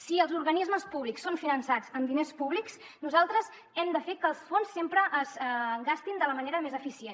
si els organismes públics són finançats amb diners públics nosaltres hem de fer que els fons sempre es gastin de la manera més eficient